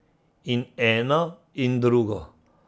In eno in drugo.